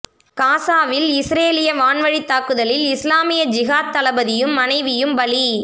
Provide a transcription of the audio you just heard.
காஸாவில் இஸ் ரேலிய வான்வழித் தாக்குதலில் இஸ்லாமிய ஜிஹாத் தளபதியும் மனைவியும் பலி